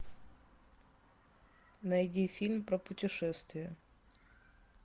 найди фильм про путешествия